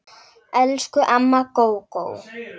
Elsku amma Gógó.